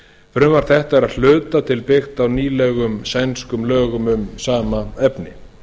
frumvarp þetta er að hluta til byggt á nýlegum sænskum lögum um sama efni